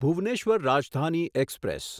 Bhubaneswar Rajdhani express